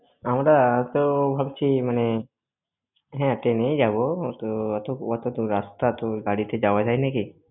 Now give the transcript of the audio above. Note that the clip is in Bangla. আমরা তো ভাবছি মানে হ্যাঁ train এই যাব, তো ওত~ অতো দূর রাস্তা তো গাড়িতে যাওয়া যায় নাকি?